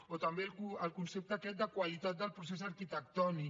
o també el concepte aquest de qualitat del procés arquitectònic